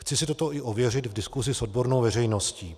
Chci si toto i ověřit v diskusi s odbornou veřejností.